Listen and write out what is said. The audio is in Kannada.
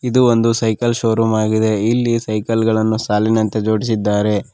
ಇದು ಒಂದು ಸೈಕಲ್ ಶೋರೂಮ್ ಆಗಿದೆ ಇಲ್ಲಿ ಸೈಕಲ್ ಗಳನ್ನು ಸಾಲಿನಂತೆ ಜೋಡಿಸಿದ್ದಾರೆ.